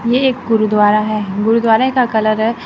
ये एक गुरुद्वारा है गुरुद्वारा का कलर है।